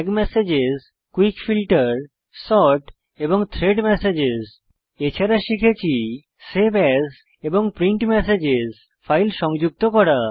tag messages quick filter sort এবং thread messages এছাড়া শিখেছি সেভ এএস এবং প্রিন্ট মেসেজেস ফাইল সংযুক্ত করা